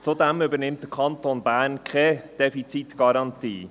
Zudem übernimmt der Kanton Bern keine Defizitgarantie.